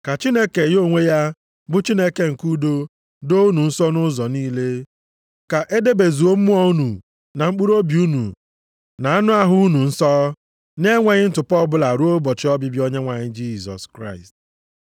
Ka Chineke ya onwe ya, bụ Chineke nke udo, doo unu nsọ nʼụzọ niile. Ka e debezuo mmụọ unu na mkpụrụobi unu na anụ ahụ unu nsọ, na-enweghị ntụpọ ọbụla ruo ụbọchị ọbịbịa Onyenwe anyị Jisọs Kraịst.